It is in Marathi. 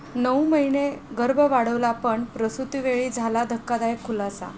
नऊ महिने गर्भ वाढवला, पण प्रसुतीवेळी झाला धक्कादायक खुलासा